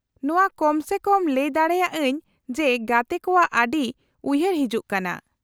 -ᱱᱚᱶᱟ ᱠᱚᱢ ᱥᱮ ᱠᱚᱢ ᱞᱟᱹᱭ ᱫᱟᱲᱮᱭᱟᱜ ᱟᱹᱧ ᱡᱮ ᱜᱟᱛᱮ ᱠᱚᱣᱟᱜ ᱠᱟᱛᱷᱟ ᱟᱹᱰᱤ ᱩᱭᱦᱟᱹᱨ ᱦᱤᱡᱩᱜ ᱠᱟᱱᱟ ᱾